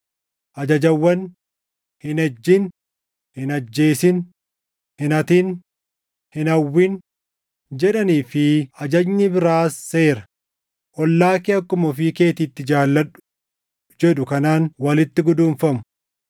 Ajajawwan, “Hin ejjin; hin ajjeesin; hin hatin; hin hawwin” + 13:9 \+xt Bau 20:13‑15,17; KeD 5:17‑19; 5:21\+xt* jedhanii fi ajajni biraas seera, “Ollaa kee akkuma ofii keetiitti jaalladhu” + 13:9 \+xt Lew 19:18\+xt* jedhu kanaan walitti guduunfamu.